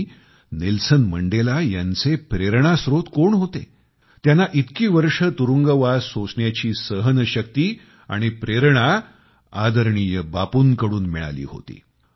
आणि मंडेला यांचे प्रेरणास्रोत कोण होते त्यांना इतकी वर्षे तुरुंगवास सोसण्याची सहनशक्ती आणि प्रेरणा आदरणीय बापूंकडून मिळाली होती